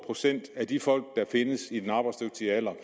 procent af de folk der findes i den arbejdsdygtige alder